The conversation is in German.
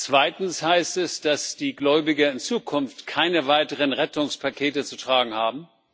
Zweitens heißt es, dass die Gläubiger in Zukunft keine weiteren Rettungspakete zu tragen haben.